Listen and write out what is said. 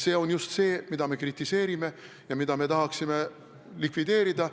See on just see, mida me kritiseerime ja mida me tahame likvideerida.